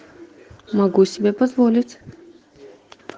могу себе позволить